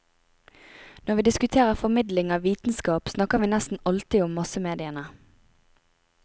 Når vi diskuterer formidling av vitenskap, snakker vi nesten alltid om massemediene.